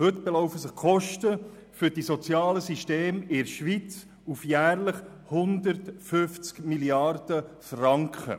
Heute belaufen sich die Kosten für die sozialen Systeme in der Schweiz auf jährlich 150 Mrd. Franken.